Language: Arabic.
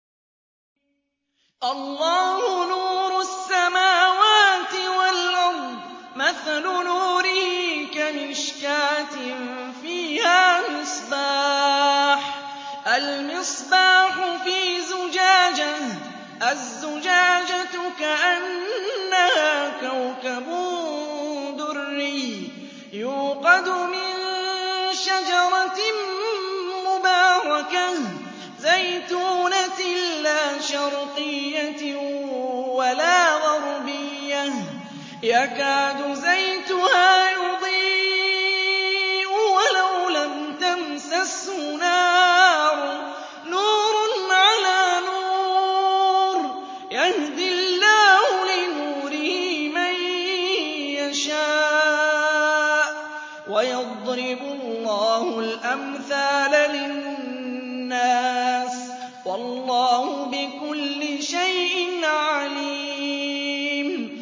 ۞ اللَّهُ نُورُ السَّمَاوَاتِ وَالْأَرْضِ ۚ مَثَلُ نُورِهِ كَمِشْكَاةٍ فِيهَا مِصْبَاحٌ ۖ الْمِصْبَاحُ فِي زُجَاجَةٍ ۖ الزُّجَاجَةُ كَأَنَّهَا كَوْكَبٌ دُرِّيٌّ يُوقَدُ مِن شَجَرَةٍ مُّبَارَكَةٍ زَيْتُونَةٍ لَّا شَرْقِيَّةٍ وَلَا غَرْبِيَّةٍ يَكَادُ زَيْتُهَا يُضِيءُ وَلَوْ لَمْ تَمْسَسْهُ نَارٌ ۚ نُّورٌ عَلَىٰ نُورٍ ۗ يَهْدِي اللَّهُ لِنُورِهِ مَن يَشَاءُ ۚ وَيَضْرِبُ اللَّهُ الْأَمْثَالَ لِلنَّاسِ ۗ وَاللَّهُ بِكُلِّ شَيْءٍ عَلِيمٌ